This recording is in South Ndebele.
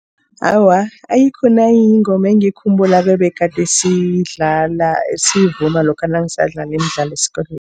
Awa, ayikho nayinye ingoma engiyikhumbulako ebegade siyidlala, siyivuma lokha nangisadlala imidlalo esikolweni.